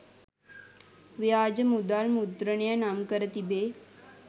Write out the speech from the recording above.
ව්‍යාජ මුදල් මුද්‍රණය නම්කර තිබේ.